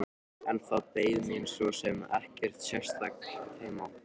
En það beið mín svo sem ekkert sérstakt heima.